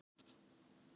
Hérna, takiði pakkana!